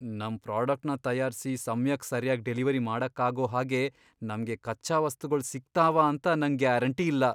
ನಮ್ ಪ್ರಾಡಕ್ಟ್ನ ತಯಾರ್ಸಿ ಸಮ್ಯಕ್ ಸರ್ಯಾಗ್ ಡೆಲಿವರಿ ಮಾಡಕ್ಕಾಗೋ ಹಾಗೆ ನಮ್ಗೆ ಕಚ್ಚಾ ವಸ್ತುಗಳ್ ಸಿಗ್ತಾವ ಅಂತ ನಂಗ್ ಗ್ಯಾರಂಟಿ ಇಲ್ಲ.